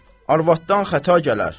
Arvatdan xəta gələr.